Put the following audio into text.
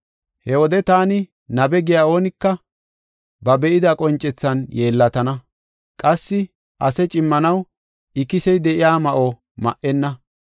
He wode taani nabe giya oonika ba be7ida qoncethan yeellatana. Qassi ase cimmanaw ikisey de7iya ma7o ma77enna.